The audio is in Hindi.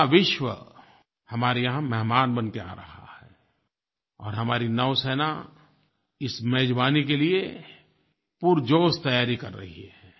पूरा विश्व हमारे यहाँ मेहमान बन के आ रहा है और हमारी नौसेना इस मेज़बानी के लिए पुरजोश तैयारी कर रही है